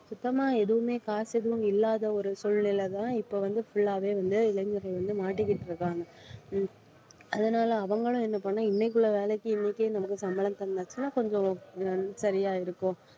சுத்தமா எதுவுமே காசு எதுவும் இல்லாத ஒரு சூழ்நிலையிலேதான் இப்போ வந்து full ஆவே வந்து இளைஞர்கள் வந்து மாட்டிக்கிட்டு இருக்காங்க உம் அதனால அவங்களும் என்ன பண்ண இன்னைக்குள்ள வேலைக்கு இன்னைக்கே நமக்கு சம்பளம் தந்தாச்சுன்னா கொஞ்சம் ஒ~ அஹ் சரியா இருக்கும்